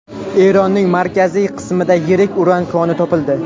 Eronning markaziy qismida yirik uran koni topildi.